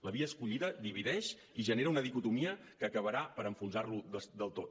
la via escollida divideix i genera una dicotomia que acabarà per enfonsar los del tot